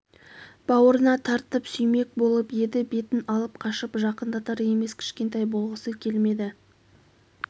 бауырына тартып сүймек болып еді бетін алып қашып жақындатар емес кішкентай болғысы келмеді